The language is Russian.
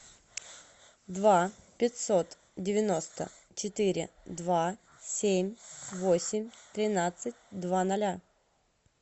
два пятьсот девяносто четыре два семь восемь тринадцать два ноля